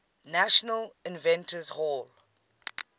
national inventors hall